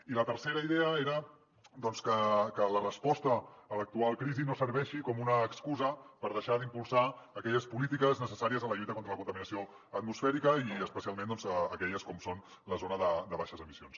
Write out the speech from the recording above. i la tercera idea era doncs que la resposta a l’actual crisi no serveixi com una excusa per deixar d’impulsar aquelles polítiques necessàries en la lluita contra la contaminació atmosfèrica i especialment aquelles com són la zona de baixes emissions